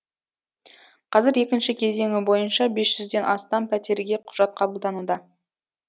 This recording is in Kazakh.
қазір екінші кезеңі бойынша бес жүзден астам пәтерге құжат қабылдануда